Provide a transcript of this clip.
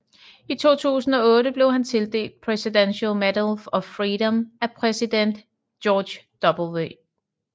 I 2008 blev han tildelt Presidential Medal of Freedom af præsident George W